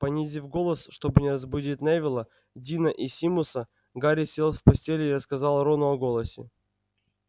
понизив голос чтобы не разбудить невилла дина и симуса гарри сел в постели и рассказал рону о голосе